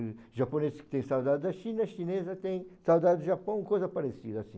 O japonês tem saudade da China, a chinesa tem saudade do Japão, coisa parecida assim.